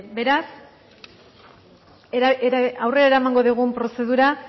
beraz aurrera eramango dugun prozedura